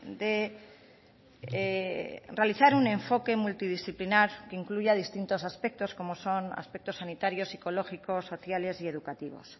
de realizar un enfoque multidisciplinar que incluya distintos aspectos como son aspectos sanitarios psicológicos sociales y educativos